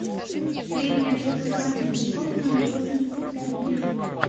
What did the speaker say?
средняя общеобразовательная школа номер восемьдесят пять билет